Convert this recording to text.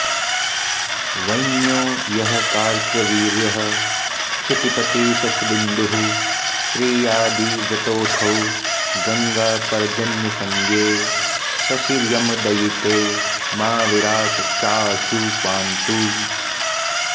वैन्यो यः कार्तवीर्यः क्षितिपतिशशबिन्दुः प्रियादिव्रतोऽथो गङ्गापर्जन्यसंज्ञे शशियमदयिते मा विराट् चाऽशु पान्तु